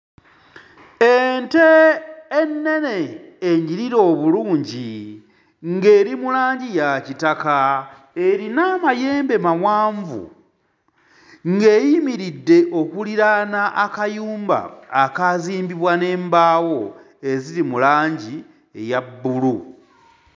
Ente ennene enyirira obulungi ng'eri mu langi ya kitaka erina amayembe mawanvu ng'eyimiridde okuliraana akayumba akaazimbibwa n'embaawo eziri mu langi eya bbulu.